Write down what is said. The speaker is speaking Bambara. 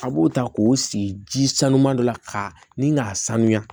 A b'o ta k'o sigi ji sanuya dɔ la ka ni k'a sanuya